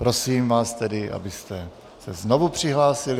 Prosím vás tedy, abyste se znovu přihlásili.